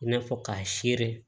I n'a fɔ k'a sere